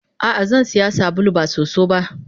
Ah ah Zansiya sabulu ba soso ba.